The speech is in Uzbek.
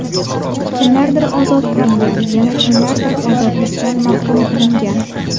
Kimlardir ozod qilingan, yana kimlardir ozodlikdan mahrum qilingan.